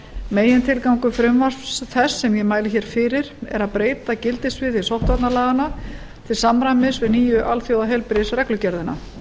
megintilgangur frumvarps þess sem ég mæli hér fyrir að breyta gildissviði sóttvarnalaganna til samræmis við nýju alþjóðaheilbrigðisreglugerðina